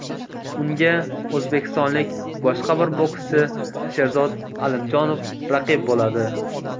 Unga o‘zbekistonlik boshqa bir bokschi Sherzod Alimjonov raqib bo‘ladi.